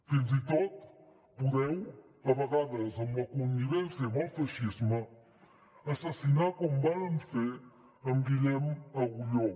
fins i tot podeu a vegades amb la connivència amb el feixisme assassinar com varen fer en guillem agulló